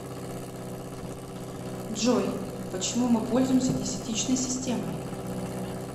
джой почему мы пользуемся десятичной системой